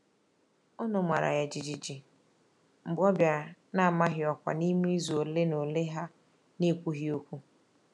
Ọnụ mara ya jijiji mgbe ọ bịara na-amaghị ọkwa n’ime izu ole na ole ha n'ekwughi okwu.